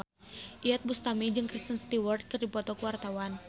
Iyeth Bustami jeung Kristen Stewart keur dipoto ku wartawan